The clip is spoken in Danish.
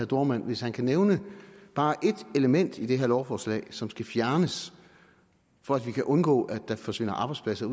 dohrmann at hvis han kan nævne bare et element i det her lovforslag som skal fjernes for at vi kan undgå at der forsvinder arbejdspladser